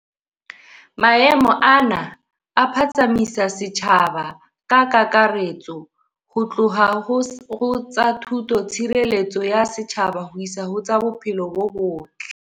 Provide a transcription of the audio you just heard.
Maemo ana a phatsamisa setjhaba ka kakaretso ho tloha ho tsa thuto, tshireletso ya setjhaba ho isa ho tsa bophelo bo botle.